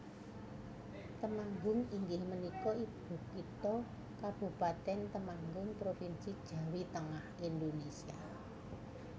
Temanggung inggih punika ibukitha Kabupatèn Temanggung Provinsi Jawi Tengah Indonésia